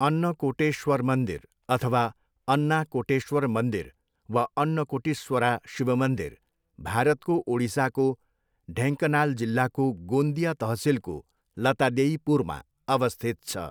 अन्नकोटेश्वर मन्दिर अथवा अन्नाकोटेश्वर मन्दिर वा अन्नकोटीश्वरा शिव मन्दिर भारतको ओडिसाको ढेङ्कनाल जिल्लाको गोन्दिया तहसिलको लतादेईपुरमा अवस्थित छ।